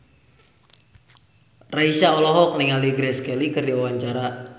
Raisa olohok ningali Grace Kelly keur diwawancara